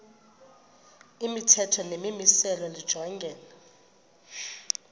imithetho nemimiselo lijongene